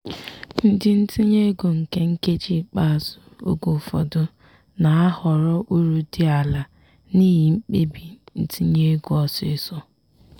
ndị ntinye ego nke nkeji ikpeazụ oge ụfọdụ na-ahọrọ uru dị ala n'ihi mkpebi ntinye ego ọsịịsọ.